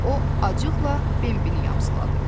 O, acıqla Bambini yamsıladı.